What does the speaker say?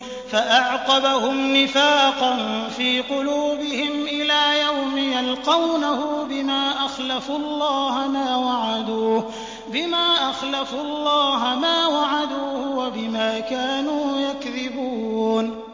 فَأَعْقَبَهُمْ نِفَاقًا فِي قُلُوبِهِمْ إِلَىٰ يَوْمِ يَلْقَوْنَهُ بِمَا أَخْلَفُوا اللَّهَ مَا وَعَدُوهُ وَبِمَا كَانُوا يَكْذِبُونَ